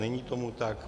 Není tomu tak.